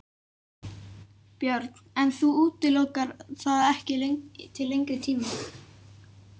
Björn: En þú útilokar það ekki til lengri tíma?